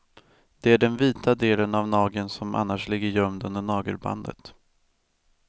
Det är den vita delen av nageln som annars ligger gömd under nagelbandet.